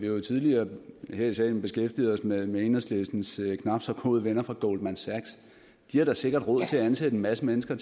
jo tidligere her i salen beskæftiget os med med enhedslistens knap så gode venner fra goldman sachs de har da sikkert råd til at ansætte en masse mennesker